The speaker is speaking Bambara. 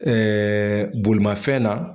bolimanfɛn na.